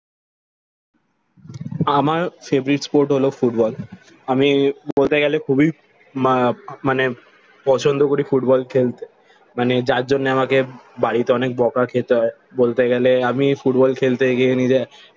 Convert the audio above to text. আমার favorite Sport হলো football. আমি বলতে গেলে খুবই মা মানে পছন্দ করি ফুটবল খেলতে। মানে যার জন্য আমাকে বাড়িতে অনেক বকা খেতে হয়। বলতে গেলে আমি ফুটবল খেলতে গিয়ে নিজের